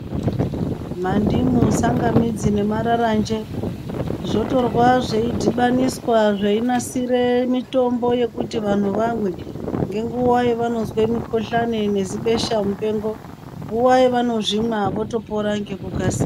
Mandimu, tsangamidzi nemararanje, zvotorwa zveidhibaniswa zveinasire mitombo yekuti vantu vamwe ngenguwa yevanozwe mikhuhlani nezibesha mupengo ,nguwa yevanozvimwa votopra ngekukasika.